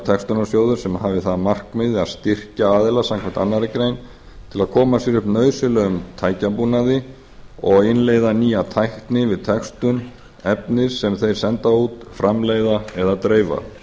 textunarsjóður sem hafi það að markmiði að styrkja aðila samkvæmt annarri grein til að koma sér upp nauðsynlegum tækjabúnaði og innleiða nýja tækni við textun efnis sem þeir senda út framleiða eða dreifa